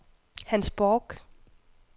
Hans Bork